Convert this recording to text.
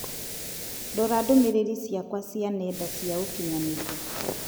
Rora ndũmĩrĩri ciakwa cia nenda cia ũkĩnyaniria